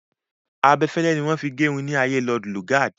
Abẹfẹlẹ ni wọ́n fi gerun ní ayée Lord Lugard.